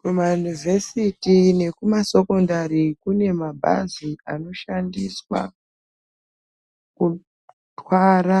Kumayunivhesiti nekumasokondari ,kune mabhazi anoshandiswa, kutwara